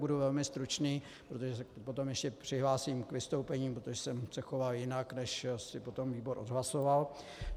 Budu velmi stručný, protože se potom ještě přihlásím k vystoupení, protože jsem se choval jinak, než si potom výbor odhlasoval.